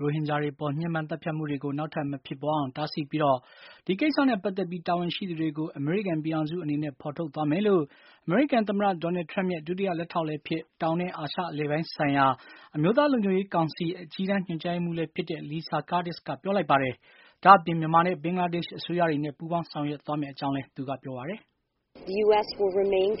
ရိုဟင်ဂျာတွေအပေါ် ညှဉ်းပမ်းသတ်ဖြတ်မှုတွေကို နောက်ထပ်မဖြစ်ပွါးအောင် တားဆီးပြီး ဒီကိစ္စနဲ့ ပတ်သက်ပြီး တာဝန်ရှိသူတွေကိုအမေရိကန်ပြည်ထောင်စုအနေနဲ့ ဖေါ်ထုတ် သွားမယ်လို့ အမေရိကန်သမ္မတ Donald Trump ရဲ့ ဒုတိယလက်ထောက် လည်းဖြစ်၊ တောင်နဲ့ အာရှအလယ်ပိုင်းဆိုင်ရာ အမျိုးသားလုံခြုံရေးကောင်စီ၊ အကြီးတန်း ညွှန်ကြားရေးမှူး Lisa Curtis က ပြောလိုက်ပါတယ်။ ဒါ့အပြင် မြန်မာနဲ့ ဘင်္ဂလားဒေ့ရှ်အစိုးရတွေနဲ့ ပူပေါင်းဆောင်ရွက်သွားမယ့်အကြောင်းလည်း သူက ပြောပါတယ်။ "ရိုဟင်ဂ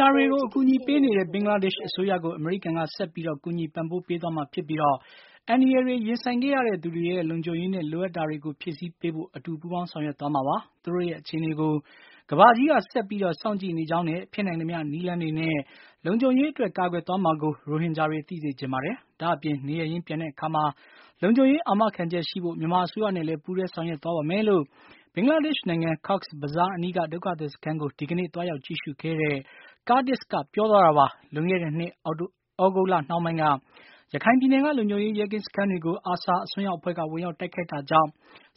ျာတွေကို အကူအညီပေးနေတဲ့ ဘင်္ဂလားဒေ့ရှ်အစိုးရကို အမေရိကန်က ဆက်ပြီး ကူညီပံ့ပိုးပေးသွားမှာဖြစ်ပြီး အန္တရယ်တွေ ရင်ဆိုင်ခဲ့ရတဲ့သူတွေရဲ့ လုံခြုံရေးနဲ့ လိုအပ်တာတွေကို ဖြည့်ဆည်းပေးသွားဖို့ အတူပူးပေါင်းဆောင်ရွက်သွားမှာပါ။ သူတို့ရဲ့အခြေအနေကို ကမ္ဘာကြီးက ဆက်ပြီး စောင့်ကြည့်နေကြောင်းနဲ့ ဖြစ်နိုင်သမျှနည်းလမ်းတွေနဲ့ လုံခြုံရေးအတွက် ကာကွယ်သွားမှာကို ရိုဟင်ဂျာတွေ သိစေချင်ပါတယ်။ ဒါ့အပြင် နေရပ်ရင်းပြန်တဲ့အခါမှာ လုံခြုံရေးအာမခံချက်ရှိဖို့ မြန်မာအစိုးရနဲ့လည်း ပူးတွဲဆောင်ရွက်သွားပါမယ်" လို့ ဘင်္ဂလာဒေ့ရှ်နိုင်ငံ Cox’s Bazar အနီးက ဒုက္ခသည် စခန်းကို ဒီကနေ့ သွားရောက်ကြည့်ရှုခဲ့တဲ့ Curtis က ပြောသွားတာပါ။ လွန်ခဲ့တဲ့နှစ် သြဂုတ်လနှောင်းပိုင်းက ရခိုင်ပြည်နယ်က လုံခြုံရေး ရဲကင်းစခန်းတွေကို ARSA အစွန်းးရောက်အဖွဲ့က ဝင်ရောက် တိုက်ခိုက်တာကြောင့်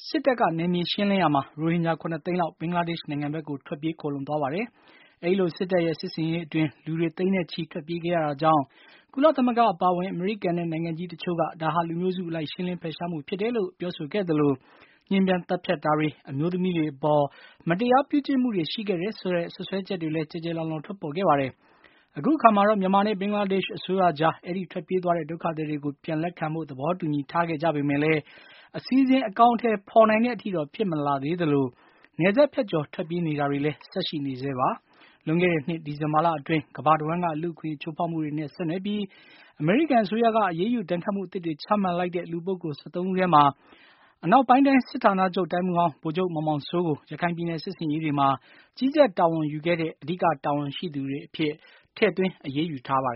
စစ်တပ်က နယ်မြေ ရှင်းလင်းရာမှာ ရိုဟင်ဂျာ ၇ သိန်းလောက် ဘင်္ဂလားဒေ့ရှ်နိုင်ငံဘက်ကို ထွက်ပြေးခိုလှုံ သွားပါတယ်။ အဲဒီလို စစ်တပ်ရဲ့ စစ်ဆင်ရေးအတွင်း လူတွေ သိန်းနဲ့ ချီ ထွက်ပြေးခဲ့ ရတာကြောင့် ကုလသမဂ္ဂအပါအဝင်၊ အမေရိကန်နဲ့ နိုင်ငံကြီးတချို့က ဒါဟာ လူမျိုးစု အလိုက် ရှင်းလင်းဖယ်ရှားမှုဖြစ်တယ်လို့ ပြောဆိုခဲ့သလို ညှဉ်းပမ်းသတ်ဖြတ်တာတွေ၊ အမျိုးသမီးတွေအပေါ် မတရားပြုကျင့်မှုတွေ ရှိခဲ့တယ်ဆိုတဲ့ စွပ်စွဲချက်တွေ ကျယ်ကျယ်လောင်လောင် ထွက်ပေါ်ခဲ့ပါတယ်။ အခုအခါမှာတော့ မြန်မာနဲ့ ဘင်္ဂလားဒေ့ရှ်အစိုးရကြား အဲဒီထွက်ပြေးသွားတဲ့ ဒုက္ခသည်တွေကို ပြန်လက်ခံဖို့ သဘောတူညီ ထားခဲ့ကြပေမယ့်လည်း အစီအစဉ်အကောင်အထည်ဖေါ်နိုင်တဲ့အထိတော့ ဖြစ်မလာသေးသလို နယ်စပ်ဖြတ်ကျော် ထွက်ပြေးနေတာတွေလည်း ဆက်ရှိနေဆဲဖြစ်ပါတယ်။ လွန်ခဲ့တဲ့နှစ် ဒီဇင်ဘာလအတွင်းကမ္ဘာတဝှမ်းက လူ့အခွင့်အရေးချိုးဖောက်မှုတွေနဲ့ ဆက်နွယ်ပြီး အမေရိကန်အစိုးရက အရေးယူဒဏ်ခတ်မှုအသစ်တွေ ချမှတ်လိုက်တဲ့ လူပုဂ္ဂိုလ် ၁၃ ထဲမှာ အနောက်ပိုင်းတိုင်း စစ်ဌာနချုပ်၊ တိုင်းမှူးဟောင်း ဗိုလ်ချုပ်မောင်မောင်စိုးကို ရခိုင်ပြည်နယ် စစ်ဆင်ရေးတွေမှာ ကြီးကြပ်တာဝန်ယူခဲ့တဲ့ အဓိကတာဝန်ရှိသူအဖြစ် ထည့်သွင်းအရေးယူခဲ့ပါတယ်